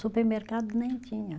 Supermercado nem tinha.